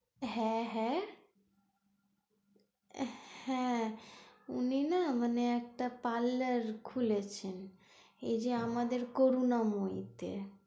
হ্যাঁ হ্যাঁ, হ্যাঁ। উনি না মানে একটা parlour খুলছেন এইযে আমাদের করুণাময়ী তে।